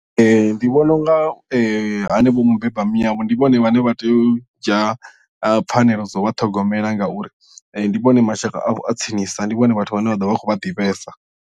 Ndi vhona unga hanevho mubeba miyavho ndi vhone vhane vha tea u dzhia pfhanelo dza u vha ṱhogomela ngauri ndi vhone mashaka avho a tsinisa ndi vhone vhathu vhane vha ḓovha vha khou vha ḓivhesa.